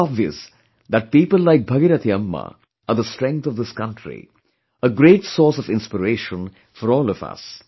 It's obvious that people like Bhagirathi Amma are the strength of this country; a great source of inspiration for all of us